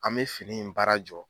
An mɛ fini in baara jɔ.